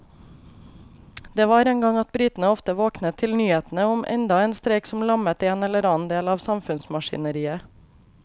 Det var en gang at britene ofte våknet til nyhetene om enda en streik som lammet en eller annen del av samfunnsmaskineriet.